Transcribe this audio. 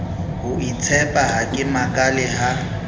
hoitshepa ha ke makale ha